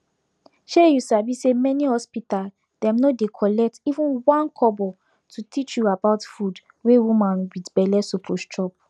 shey u sabi say many hospital dem no dey collect even 1kobo to teach u about food wey woman wit belle suppose chop